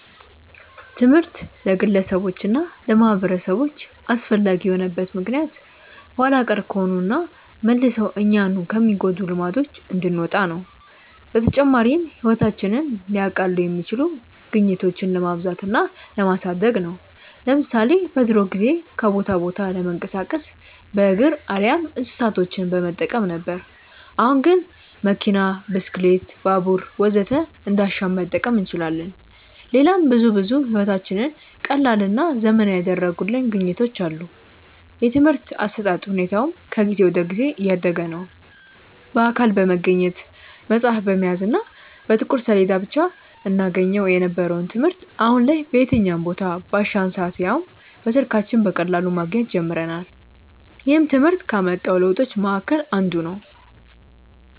ትምህርት ለግለሰቦች እና ለማህበረሰቦች አስፈላጊ የሆነበት ምክንያት ኋላ ቀር ከሆኑና መልሰው እኛኑ ከሚጎዱን ልማዶች እንድንወጣ ነው። በተጨማሪም ህይወታችንን ሊያቀሉ የሚችሉ ግኝቶችን ለማብዛት እና ለማሳደግ ነው። ለምሳሌ በድሮ ጊዜ ከቦታ ቦታ ለመንቀሳቀስ በእግር አሊያም እንስሳቶችን በመጠቀም ነበር። አሁን ግን መኪና፣ ብስክሌት፣ ባቡር ወዘተ እንዳሻን መጠቀም እንችላለን። ሌላም ብዙ ብዙ ህይወታችንን ቀላልና ዘመናዊ ያደረጉልን ግኝቶች አሉ። የትምርህት አሰጣጥ ሁኔታውም ከጊዜ ወደ ጊዜ እያደገ ነዉ። በአካል በመገኘት፣ መፅሀፍ በመያዝ እና በጥቁር ሰሌዳ ብቻ እናገኘው የነበረውን ትምህርት አሁን ላይ በየትኛውም ቦታ፣ ባሻን ሰአት ያውም በስልካችን በቀላሉ ማግኘት ጀምረናል። ይህም ትምህርት ካመጣው ለውጦች መሀከል አንዱ ነው።